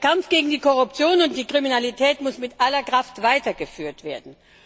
Der Kampf gegen die Korruption und die Kriminalität muss mit aller Kraft weitergeführt werden.